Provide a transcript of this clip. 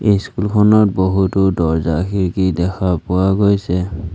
School খনৰ বহুতো দৰ্জা খিৰিকী দেখা পোৱা গৈছে।